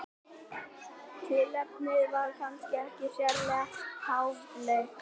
tilefnið var kannski ekki sérlega háfleygt